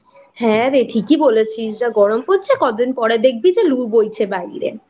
হ্যাঁ ঠিক ই বলেছিস যা গরম পড়েছে কদিন পরে দেখবি লু বইছে বাইরে।